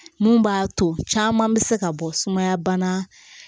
Mun b'a to caman bɛ se ka bɔ sumaya bana